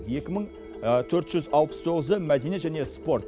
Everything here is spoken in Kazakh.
екі мың төрт жүз алпыс тоғызы мәдениет және спорт